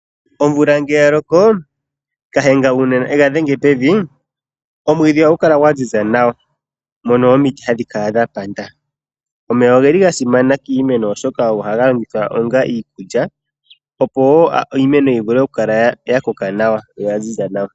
Omvula ngele ya loko. Nashenga uuna ye ga dhenge pevi. Omwiidhi ohagu kala gwa ziza nawa nomiti ohadhi kala dha panda. Omeya oga simana kiimeno oshoka ohaga longithwa onga iikulya opo iimeno yi vule oku kala ya koka nawa yo oya ziza nawa.